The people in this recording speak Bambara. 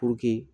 Puruke